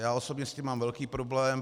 Já osobně s tím mám velký problém.